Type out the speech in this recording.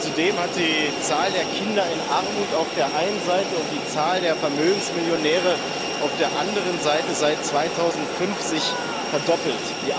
Zudem hat sich die Zahl der Kinder in Armut auf der einen Seite und die Zahl der Vermögensmillionäre auf der anderen Seite seit 2005 verdoppelt.